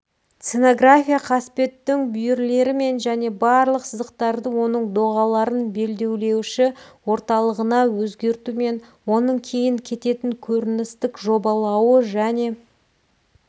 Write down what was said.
сценография қасбеттің бүйірлерімен және барлық сызықтарды оның доғаларын белдеулеуші орталығына өзгертумен оның кейін кететін көріністік жобалауы және